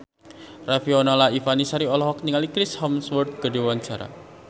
Riafinola Ifani Sari olohok ningali Chris Hemsworth keur diwawancara